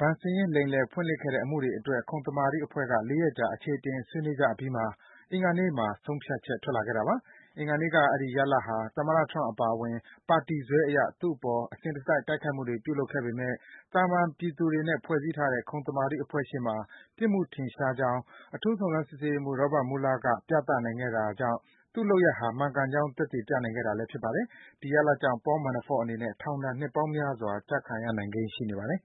ဘဏ်စာရင်း လိမ်လည် ဖွင့်လှစ်ခဲ့တဲ့ အမှုတွေအတွက် ခုံသမာဓိအဖွဲ့က ၄ ရက်ကြာ အခြေအတင် ဆွေးနွေးကြပြီးမှ အင်္ဂါနေ့မှာ ဆုံးဖြတ်ချက် ထွက်လာခဲ့တာပါ။ အင်္ဂါနေ့က ရလဒ်ဟာ သမ္မတ Trump အပါအဝင် ပါတီစွဲအရ သူ့အပေါ် အစဉ်တစိုက် တိုက်ခိုက်မှုတွေ ပြုလုပ်နေခဲ့ပေမယ့် သာမှန် ပြည်သူတွေနဲ့ ဖွဲ့စည်းထားတဲ့ ခုံသမာဓိအဖွဲ့ရှေ့မှာ ပြစ်မှုရှိကြောင်း အထူး စုံစမ်းစစ်ဆေးရေးမှူး Robert Mueller ပြသနိုင်ခဲ့တာကြောင့် သူ့လုပ်ရပ်ဟာ မှန်ကန်ကြောင်း သက်သေ ပြနိုင်ခဲ့တာ ဖြစ်ပါတယ်။ ဒီရလဒ်ကြောင့် Paul Manafort အနေနဲ့ ထောင်ဒဏ် နှစ်ပေါင်းများစွာ ကျခံရနိုင်ကိန်း ရှိနေပါတယ်။